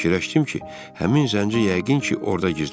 Fikirləşdim ki, həmin zənci yəqin ki, orada gizlənir.